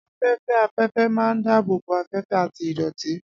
Afẹ́fẹ́ afẹ́fẹ́ máa ń dáàbò bo afẹ́fẹ́ àti ìdọ̀tí.